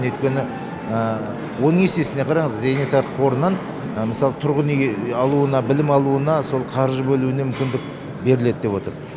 өйткені оның есесіне қараңыз зейнетақы қорынан мысалы тұрғын үй алуына білім алуына сол қаржы бөлуіне мүмкіндік беріледі деп отыр